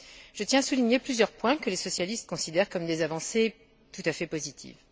Je tiens à souligner plusieurs points que les socialistes considèrent comme des avancées tout à fait positives.